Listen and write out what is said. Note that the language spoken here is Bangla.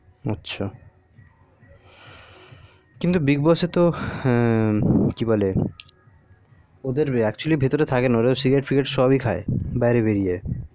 আচ্ছা কিন্তু big boss এ তো হ্যা কি বলে ওদের actually ওরা তো ভিতরে থাকে না cigarette figarette সবই খাই বাইরে বেরিয়ে